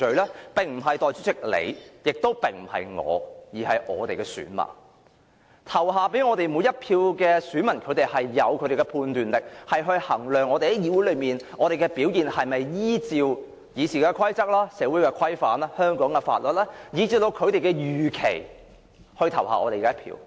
這並不是由代理主席或我本人說了算的，而應由投票給我們的每一位選民自行判斷，評定我們在議會內的表現是否符合《議事規則》、社會規範、香港法律，以至他們的預期。